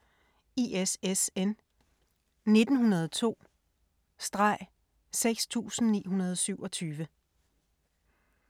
ISSN 1902-6927